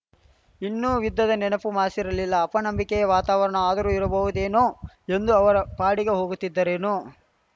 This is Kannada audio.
ಇನ್ನೂ ಯುದ್ಧದ ನೆನಪು ಮಾಸಿರಲಿಲ್ಲಅಪನಂಬಿಕೆಯ ವಾತಾವರಣ ಆದರೂ ಇರಬಹುದೇನೋ ಎಂದು ಅವರ ಪಾಡಿಗೆ ಹೋಗುತ್ತಿದ್ದರೇನೋ